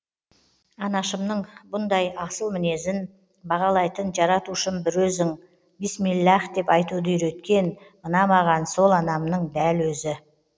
анашымның бұндай асыл мінезін бағалайтын жаратушым бір өзің бисмиллаһ деп айтуды үйреткен мына маған сол анамның дәл өзі